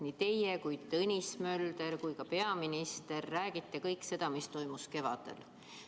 Nii teie, Tõnis Mölder kui ka peaminister räägite kõik seda, mis toimus kevadel.